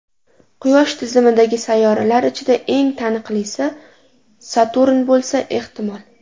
Quyosh tizimidagi sayyoralar ichida eng taniqlisi Saturn bo‘lsa ehtimol.